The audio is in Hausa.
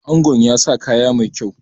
Angon ya sa kaya mai kyau